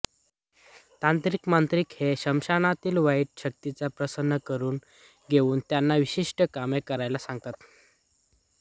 तांत्रिकमांत्रिक हे स्मशानातील वाईट शक्तींना प्रसन्न करून घेवून त्यांना विशिष्ट काम करायला सांगतात